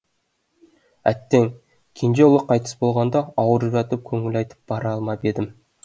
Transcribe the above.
әттең кенже ұлы қайтыс болғанда ауырып жатып көңіл айтып бара алмап едім